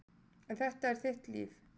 En þetta er þitt líf.